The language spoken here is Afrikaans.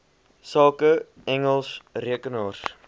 sake engels rekenaars